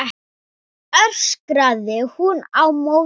öskraði hún á móti.